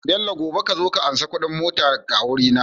Bello gobe kazo ka anshi Ƙudin motar ka a waje na